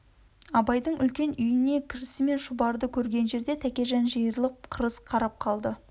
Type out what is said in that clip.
абайдың үлкен үйіне кірісімен шұбарды көрген жерде тәкежан жиырылып қырыс қарап қалды